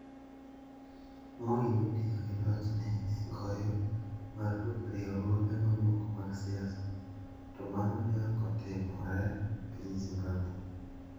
Moi notiyo gi lochne e goyo marfuk riwruoge mamoko mag siasa, to mano ne ok otimore e piny Zimbabwe.